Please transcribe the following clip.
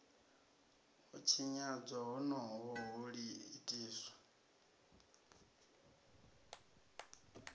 u tshinyadzwa honoho ho itiswa